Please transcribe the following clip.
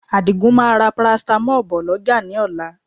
Àdìgún máa ra paracetamol bọ̀ lọ́jà ní ọ̀la